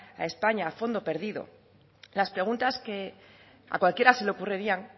a españa a fondo perdido las preguntas que a cualquiera se le ocurrirían